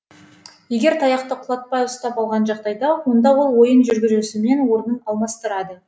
егер таяқты құлатпай ұстап алған жағдайда онда ол ойын жүргізушімен орнын алмастырады